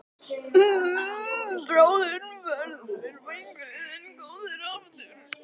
Bráðum verður vængurinn þinn góður aftur.